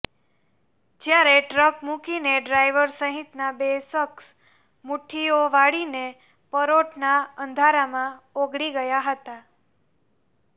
જ્યારે ટ્રક મૂકીને ડ્રાઈવર સહિતના બે શખસ મુઠ્ઠીઓ વાળીને પરોઢના અંધારામાં ઓગળી ગયા હતા